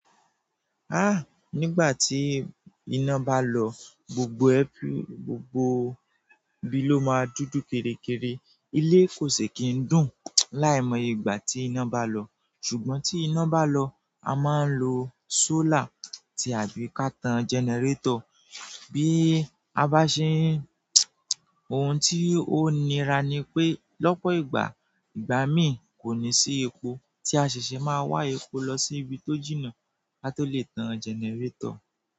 Ah! Nígbà tí iná bá lọ, gbogbo ẹ́, gbogbo ibi ló ma dúdú kéré kéré. Ilé kòsí kín dùn láì mọ̀ yé ìgbà tí iná bá lọ. Ṣùgbọ́n tí iná bá lọ, a ma ń lo solar tàbí ká tan generator bí a bá ṣe ń. Ohun tí ó nira ni pé lọ́pọ̀ ìgbà, ìgbà mi kò ní sí epo tí a ṣeṣẹ, ma wá epo lọ sí ibi tó jìnà kí a tó lè tan generator.